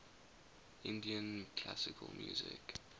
indian classical music